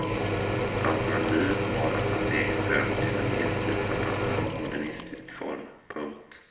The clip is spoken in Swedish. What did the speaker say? Alternativet var att ta steget över till en mer tidsanpassad modernistisk form. punkt